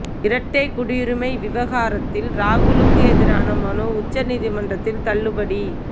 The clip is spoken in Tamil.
இரட்டை குடியுரிமை விவகாரத்தில் ராகுலுக்கு எதிரான மனு உச்ச நீதிமன்றத்தில் தள்ளுபடி